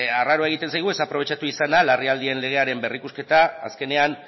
arraroa egitean zaigu ez aprobetxatu izana larrialdien legearen berrikusketa azkenean